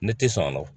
Ne tɛ sɔn a ma